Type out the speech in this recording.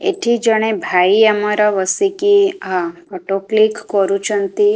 ଏଠି ଜଣେ ଭାଇ ଆମର ବସିକି ହଁ ଫଟୋ କ୍ଲିକ୍ କରୁଚନ୍ତି।